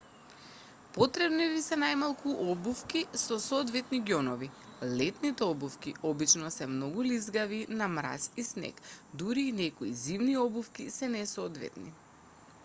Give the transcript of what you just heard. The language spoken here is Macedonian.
потребни ви се најмалку обувки со соодветни ѓонови летните обувки обчно се многу лизгави на мраз и снег дури и некои зимни обувки се несоодветни